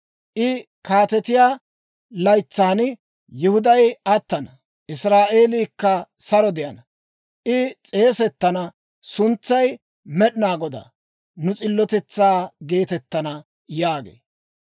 I kaatetiyaa laytsan Yihuday attana; Israa'eeliikka saro de'ana. I s'eesettana suntsay Med'inaa Godaa, nu S'illotetsaa geetettana» yaagee.